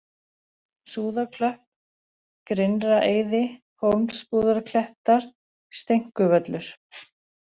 Súðaklöpp, Grynnraeiði, Hólmsbúðarklettar, Steinkuvöllur